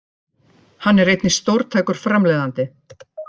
Hann er einnig stórtækur framleiðandi